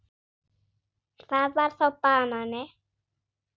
Það var þá banani.